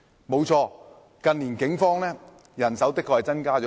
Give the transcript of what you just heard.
沒錯，近年警方的人手的確增加不少。